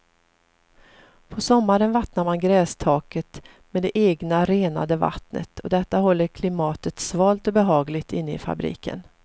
På sommaren vattnar man grästaket med det egna, renade vattnet och detta håller klimatet svalt och behagligt inne i fabriken.